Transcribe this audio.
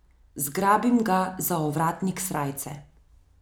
Zgrabim ga za ovratnik srajce.